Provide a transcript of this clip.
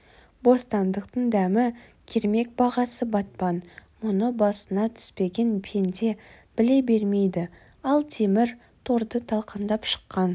бостандықтың дәмі кермек бағасы батпан мұны басына түспеген пенде біле бермейді ал темір торды талқандап шыққан